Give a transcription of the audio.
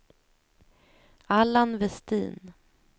Allan Vestin